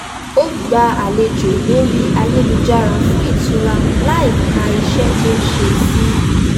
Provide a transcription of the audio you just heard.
ó gbá àlejò lórí ayélujára fún ìtura láìka iṣẹ́ tó ń ṣe sí